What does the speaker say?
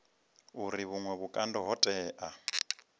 uri vhuṅwe vhukando ho tea